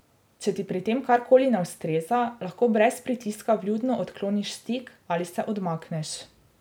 Če ti pri tem karkoli ne ustreza, lahko brez pritiska vljudno odkloniš stik ali se odmakneš.